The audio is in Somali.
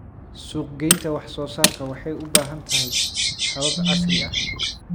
Suuqgeynta wax soo saarka waxay u baahan tahay habab casri ah.